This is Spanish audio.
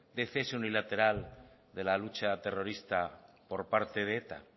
de cese unilateral de la lucha terrorista por parte de eta